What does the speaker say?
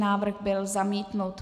Návrh byl zamítnut.